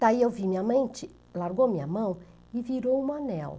Daí eu vi minha mente, largou minha mão e virou um anel.